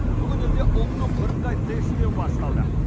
бүгін елде ұлттық бірыңғай тестілеу басталды